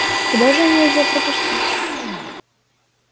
куда же они запропастились